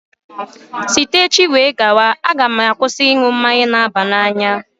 Site echi wee gaba, a ga m akwụsị ịṅụ mmanya biya